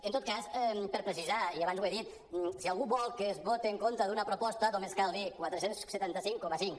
en tot cas per precisar i abans ho he dit si algú vol que es voti en contra d’una proposta només cal dir quatre cents i setanta cinc coma cinc